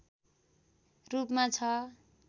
रूपमा छ